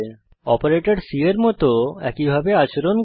operator C এর মত একই ভাবে আচরণ করে